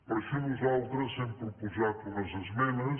per això nosaltres hem proposat unes esmenes